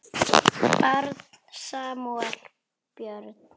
Barn Samúel Björn.